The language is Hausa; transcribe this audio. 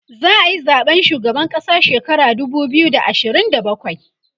za'ayi zaɓen shugaban ƙasa shekara dubu biyu da ashirin da bakwai